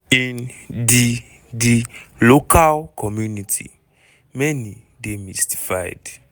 in di di local community many dey mystified.